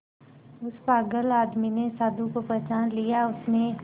उस पागल आदमी ने साधु को पहचान लिया उसने